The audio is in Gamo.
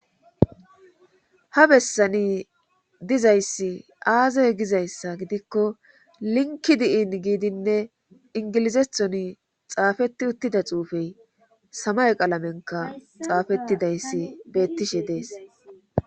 Ha bessani dizayssi aazay gizayssa gidikko linki di'in giidinne ingilizethoni xaafetti uttida xuufey samay qalamenka xaafettidayssi beettishe dees